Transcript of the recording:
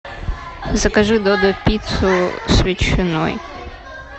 закажи додо пиццу с ветчиной